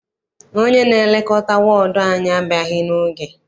Onye na-elekọta wọọdụ anyị abịaghị n'oge.